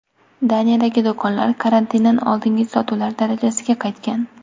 Daniyadagi do‘konlar karantindan oldingi sotuvlar darajasiga qaytgan.